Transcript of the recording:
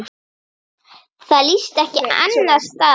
Það líðst ekki annars staðar.